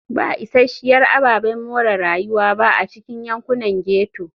Ba isasshiyar ababen more rayuwa ba a cikin yankunan ghetto.